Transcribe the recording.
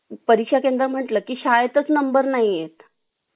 परीक्षा केंद्र म्हटलं की शाळेतच नंबर नाही येत